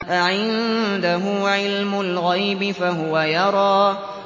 أَعِندَهُ عِلْمُ الْغَيْبِ فَهُوَ يَرَىٰ